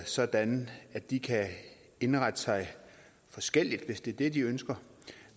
sådan at de kan indrette sig forskelligt hvis det er det de ønsker